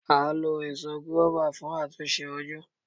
A lo Èso gùáfà fún àtúnṣe ojú.